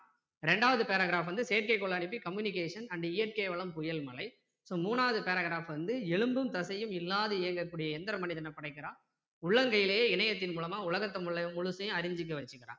ரெண்டாவது paragraph வந்து செயற்கை கோளை அனுப்பி communication and இயற்கை வளம் புயல் மழை so மூணாவது paragraph வந்து எலும்பும் தசையும் இல்லாது இயங்க கூடிய எந்திர மனிதனைப் படைக்கிறான் உள்ளங்கையிலே இணையத்தின் மூலமா உலகத்தை முழுசையும் அறிஞ்சிக்க வச்சுகிறான்